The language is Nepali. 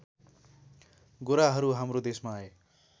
गोराहरू हाम्रो देशमा आए